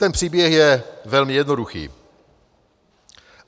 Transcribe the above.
Ten příběh je velmi jednoduchý.